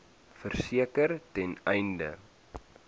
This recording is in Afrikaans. verseker ten einde